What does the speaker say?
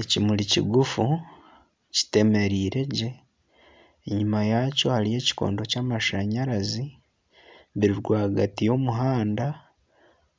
Ekimuri kigufu kitemereire gye enyuma yakyo hariyo ekikondo ky'amashanyarazi biri rwagati y'omuhanda